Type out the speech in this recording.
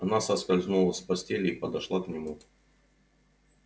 она соскользнула с постели и подошла к нему